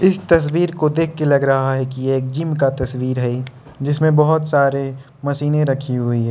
इस तस्वीर को देख के लग रहा है कि एक जिम का तस्वीर है जिसमें बहुत सारे मशीनें रखी हुई है।